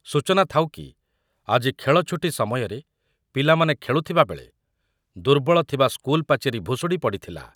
ସୂଚନା ଥାଉକି, ଆଜି ଖେଳଛୁଟି ସମୟରେ ପିଲାମାନେ ଖେଳୁଥିବାବେଳେ ଦୁର୍ବଳ ଥିବା ସ୍କୁଲ ପାଚେରି ଭୁଷୁଡି ପଡିଥିଲା।